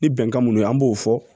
Ni bɛnkan munnu ye an b'o fɔ